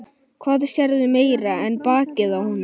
Hvað sérðu meira en bakið á honum?